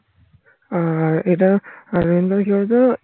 আহ এটা কি বলতো